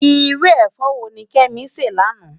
Irú efò wóni Kemi sè láná?